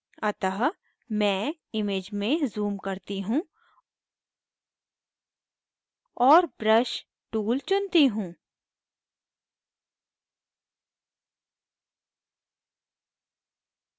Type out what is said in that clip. अतः मैं image में zoom करती हूँ और brush tool चुनती हूँ